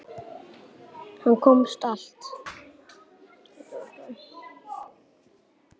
Hann komst allt.